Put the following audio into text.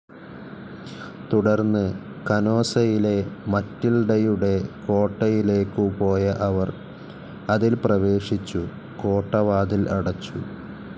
തുടർന്ന് കനോസയിലെ മറ്റിൽഡയുടെ കോട്ടയിലേക്കു പോയ അവർ അതിൽ പ്രവേശിച്ചു കോട്ടവാതിൽ അടച്ചു.